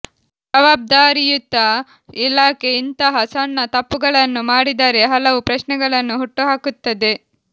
ಜವಾಬ್ದಾರಿಯುತ ಇಲಾಖೆ ಇಂತಹ ಸಣ್ಣ ತಪ್ಪುಗಳನ್ನು ಮಾಡಿದರೆ ಹಲವು ಪ್ರಶ್ನೆಗಳನ್ನು ಹುಟ್ಟುಹಾಕುತ್ತದೆ